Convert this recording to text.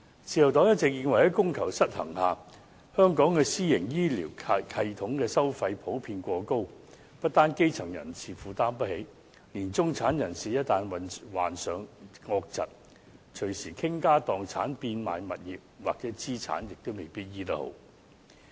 自由黨一直認為，在供求失衡下，香港的私營醫療系統的收費普遍過高，不單基層人士負擔不起，連中產人士一旦患上惡疾，隨時傾家蕩產、變賣物業或資產也未必能夠把病治癒。